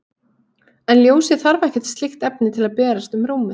en ljósið þarf ekkert slíkt efni til að berast um rúmið